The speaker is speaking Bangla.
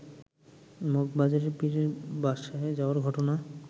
মগবাজারের পীরের বাসায় যাওয়ার ঘটনা